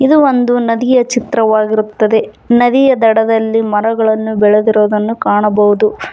ಇದು ಒಂದು ನದಿಯ ಚಿತ್ರವಾಗಿರುತ್ತದೆ ನದಿಯ ದಡದಲ್ಲಿ ಮರಗಳನ್ನು ಬೆಳೆದಿರುವುದನ್ನು ಕಾಣಬಹುದು.